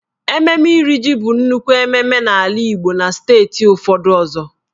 Ememme Iri jì bụ nnukwu mmemme n'ala Igbo na steeti ụfọdụ ọzọ.